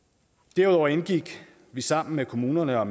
derudover indgik vi sammen med kommunerne og